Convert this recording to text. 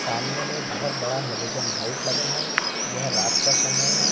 सामने में बहोत बड़ा हैलोजन लाइट लगा है यह रात का समय है।